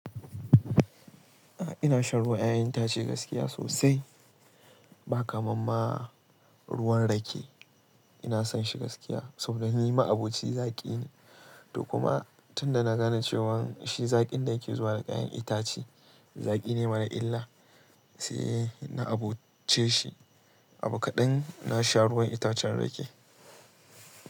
A'a ina shan ruwan 'ya'yan itace gaskiya sosai. Ba kamar ma ruwan rake. Ina son shi gaskiya saboda ni ma abocin zaƙi ne. To kuma tun da na gane cewan shi zaƙin da ke zuwa da kayan itace zaƙi ne mara illa sai na aboce shi. Abu kaɗan na sha ruwan itacen rake.